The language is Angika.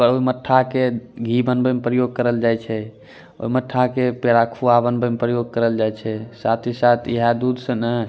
और मट्ठा के घी बनवे में प्रयोग करल जाए छै ओ मट्ठा के पेरा खुआ बनवे मे प्रयोग करल जाय छै साथ ही साथ इहे दूध से ने --